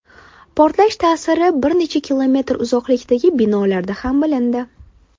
Portlash ta’siri bir necha kilometr uzoqlikdagi binolarda ham bilindi.